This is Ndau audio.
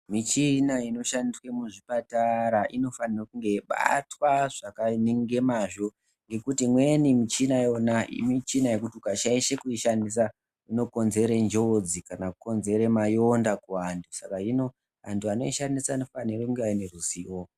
Michina inoshandiswa muzvipatara inofanirwa kunge yeibatwa nemazvo. Ngekuti imweni michina, michina yekuti ukashaisha kuishandisa inokonzera njodzi kana kukonzera mayonda kuvantu. Hino antu anoishandisa anofanira kunge aine ruzivo.